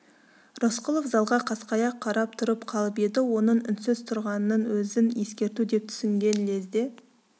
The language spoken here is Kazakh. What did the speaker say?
рысқұлов залға қасқая қарап тұрып қалып еді оның үнсіз тұрғанының өзін ескерту деп түсінген лезде